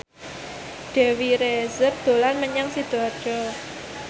Dewi Rezer dolan menyang Sidoarjo